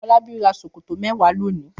Fọlábí ra ṣòkòtò mẹ́wàá lónìí.